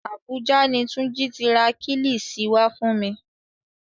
Àbújá ni Túnjí ti ra kílìṣí wá fún wa